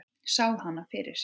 Sá hana fyrir sér.